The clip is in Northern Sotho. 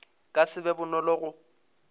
ka se be bonolo go